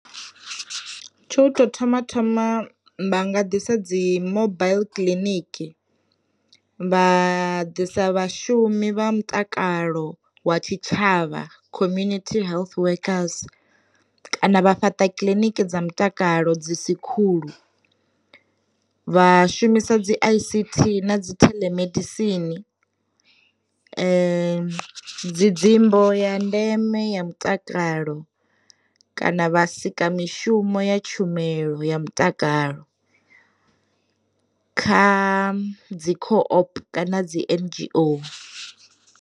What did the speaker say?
Tsha u tou thoma thoma vha nga ḓisa dzi mobaiḽi clinic, vha ḓisa vhashumi vha mutakalo wa tshi tshavha community health workers, kana vha fhaṱa kiliniki dza mutakalo dzi si khulu, vha shumisa dzi i_c_t na dzi theḽemedisini, dzi dzimbo ya ndeme ya mutakalo, kana vha sika mishumo ya tshumelo ya mutakalo, kha dzi kho o_p kana dzi N_G_O.